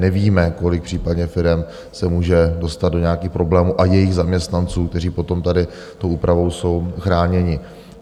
Nevíme, kolik případně firem se může dostat do nějakých problémů, a jejich zaměstnanců, kteří potom tady tou úpravou jsou chráněni.